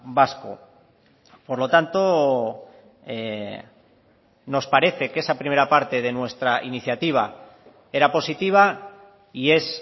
vasco por lo tanto nos parece que esa primera parte de nuestra iniciativa era positiva y es